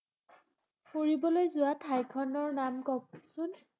ফুৰিবলৈ যোৱা ঠাইখনৰ নাম কওঁকচোন।